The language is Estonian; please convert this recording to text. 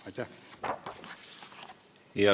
Aitäh!